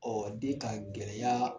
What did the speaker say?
Ɔ de ta gɛlɛya